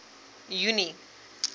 junie